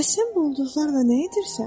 Bəs sən bu ulduzlarla nə edirsən?